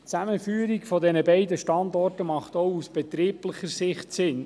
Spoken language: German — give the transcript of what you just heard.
Die Zusammenführung der beiden Standorte macht auch aus betrieblicher Sicht Sinn.